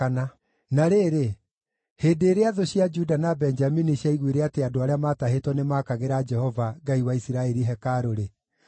Na rĩrĩ, hĩndĩ ĩrĩa thũ cia Juda na Benjamini ciaiguire atĩ andũ arĩa maatahĩtwo nĩmaakagĩra Jehova, Ngai wa Isiraeli, hekarũ-rĩ,